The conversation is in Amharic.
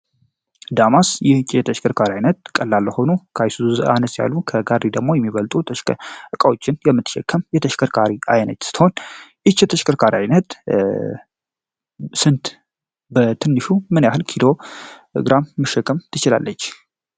ተሽከርካሪ አይነት ቀላል ሆኖ የሚበልጡ ተሽከዎችን የምትሸካም የተሽከርካሪ አይነት ስቶሽከርካሪነት በትንሹ ምን ያህል ኪዶ ግራም መሸከም ትችላለች?